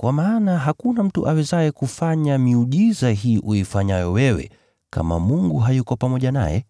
kwa maana hakuna mtu awezaye kufanya miujiza hii uifanyayo wewe, kama Mungu hayuko pamoja naye.”